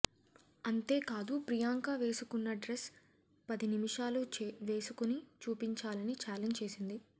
అంతేకాదు ప్రియాంక వేసుకున్న డ్రెస్ పది నిమిషాలు వేసుకుని చూపించాలని చాలెంజ్ చేసింది